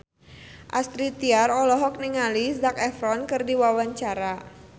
Astrid Tiar olohok ningali Zac Efron keur diwawancara